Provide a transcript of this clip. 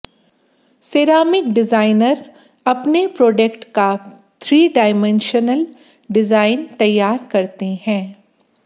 ceramic designer अपने product का three dimensional design तैयार करते हैं